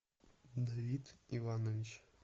давид иванович